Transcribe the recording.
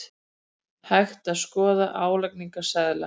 Hægt að skoða álagningarseðla